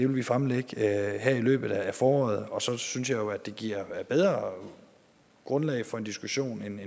vil fremlægge her i løbet af foråret og så synes jeg jo at det giver bedre grundlag for en diskussion